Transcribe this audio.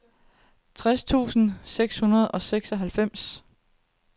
tres tusind seks hundrede og seksoghalvfems